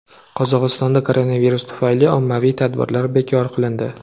Qozog‘istonda koronavirus tufayli ommaviy tadbirlar bekor qilindi.